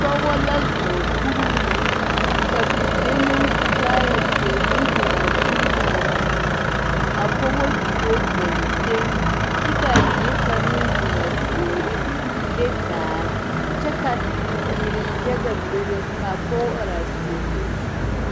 Pɔgeba la zɔɔ kuriwiri ka bibile naŋ su kaaya peɛle k'o zeŋ a kuriwiri zu a pɔgeba kentɛ kyɛ ka a bie kaŋ meŋ zeŋ a puoriŋ k'o le daare kyɛ ka teere yaga bebe ka a pɔge are a puoriŋ.